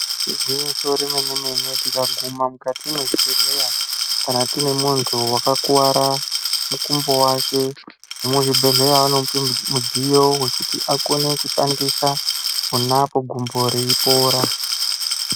Igwinyiso remene-mene tikaguma mukati mwezvebhedhleya, kana tine muntu wakakuwara mukumbo wake, vemuzvibhedhleya vanomupe mudziyo wekuti akone kushandisa pona apo gumbo reipora.